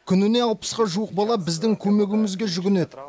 күніне алпысқа жуық бала біздің көмегімізге жүгінеді